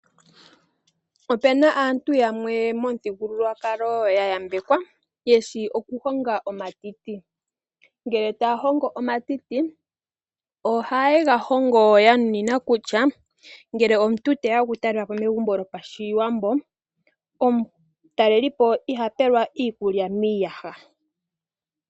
Opu na aantu yamwe momuthigululwakalo ya yambekwa ye shi okuhonga omatiti. Ngele taya hongo omatiti ohaye ga hongo ya nunina kutya, ngele omuntu te ya okutalela po megumbo lyopaShiwambo, omutalelipo iha pelwa iikulya miiyaha.